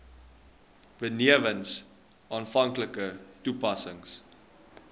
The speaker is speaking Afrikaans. benewens aanvanklike toetsings